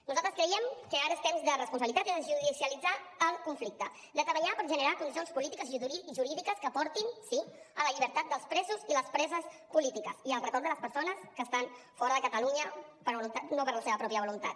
nosaltres creiem que ara és temps de responsabilitat i de desjudicialitzar el conflicte de treballar per generar condicions polítiques i jurídiques que portin sí a la llibertat dels presos i les preses polítiques i al retorn de les persones que estan fora de catalunya no per la seva pròpia voluntat